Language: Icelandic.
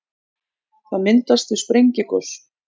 það myndast við sprengigos